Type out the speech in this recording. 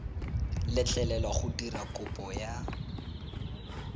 letlelelwa go dira kopo ya